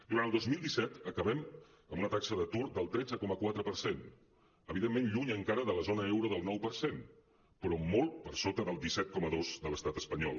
durant el dos mil disset acabem amb una taxa d’atur del tretze coma quatre per cent evidentment lluny encara de la zona euro del nou per cent però molt per sota del disset coma dos de l’estat espanyol